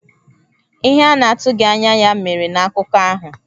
Ihe a na-atụghị anya ya mere na akụkọ ahụ.